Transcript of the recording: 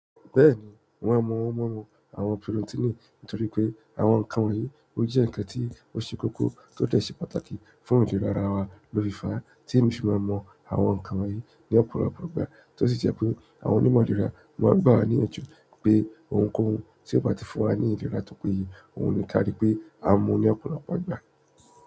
Bẹ́ẹ̀ni, wọn a mọ̀ ọ́n mọ̀ àwọn pírótínì nítorí pé àwọn nǹkan wọ̀nyí ó jẹ́ ǹkan tí ó ṣe kókó tó dẹ̀ ṣe pàtàkì fún ìlera ara wa lófiifá, tí èmi fi máa mò àwọn nǹkan wọ̀nyí ní ọ̀pọ̀lọpọ̀ ìgbà, tó sì jẹ́ pé àwọn onímọ̀ ìlera máa ń gbà wá ní ìyànjú pé ohunkóhun tí ò bá ti fún wa ní ìlera tópeye, òhun ni ká rí pé a mu ní ọ̀pọ̀lọpọ̀ ìgbà.